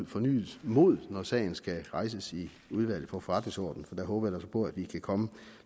fornyet mod når sagen skal rejses i udvalget for forretningsordenen for der håber jeg altså på at vi kan komme